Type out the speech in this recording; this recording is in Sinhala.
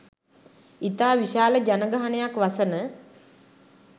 ඉතා විශාල ජනගහනයක් වසන